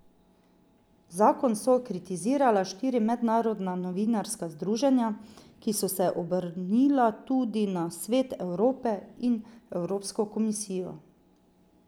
Zakon so kritizirala štiri mednarodna novinarska združenja, ki so se obrnila tudi na Svet Evrope in Evropsko komisijo.